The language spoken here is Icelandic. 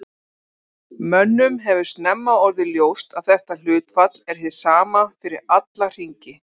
Á vegum Alþingis starfa tvær stofnanir sem eiga veigamikinn þátt í eftirliti þingsins með framkvæmdarvaldinu.